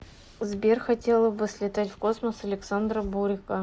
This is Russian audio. сбер хотела бы слетать в космос александра бурико